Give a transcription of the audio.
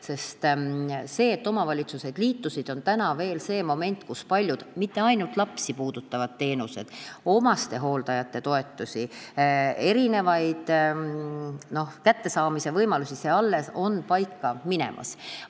Seetõttu, et omavalitsused liitusid, on veel see moment, et paljud teenused – ja mitte ainult lapsi puudutavad teenused, ka omastehooldajate toetused, nende erinevad kättesaamise võimalused – on alles paika minemas.